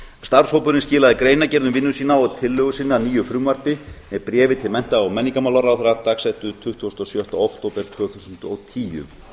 starfshópurinn skilaði greinargerð um vinnu sína og tillögu sinni að nýju frumvarpi með bréfi til mennta og menningarmálaráðherra dagsettu tuttugasta og sjötta október tvö þúsund og tíu